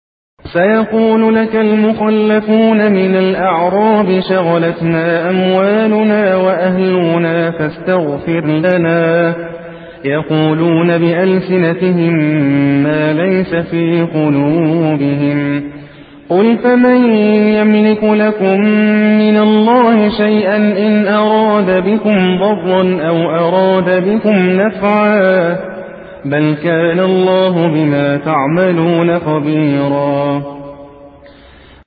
سَيَقُولُ لَكَ الْمُخَلَّفُونَ مِنَ الْأَعْرَابِ شَغَلَتْنَا أَمْوَالُنَا وَأَهْلُونَا فَاسْتَغْفِرْ لَنَا ۚ يَقُولُونَ بِأَلْسِنَتِهِم مَّا لَيْسَ فِي قُلُوبِهِمْ ۚ قُلْ فَمَن يَمْلِكُ لَكُم مِّنَ اللَّهِ شَيْئًا إِنْ أَرَادَ بِكُمْ ضَرًّا أَوْ أَرَادَ بِكُمْ نَفْعًا ۚ بَلْ كَانَ اللَّهُ بِمَا تَعْمَلُونَ خَبِيرًا